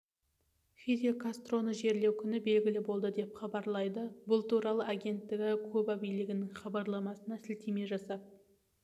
фидель кастроны жерлеу күні белгілі болды деп хабаолайды бұл туралы агенттігі куба билігінің хабарламасына сілтеме жасап